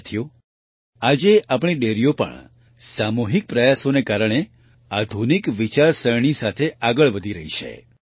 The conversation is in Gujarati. સાથીઓ આજે આપણી ડેરીઓ પણ સામૂહિક પ્રયાસોને કારણે આધુનિક વિચારસરણી સાથે આગળ વધી રહી છે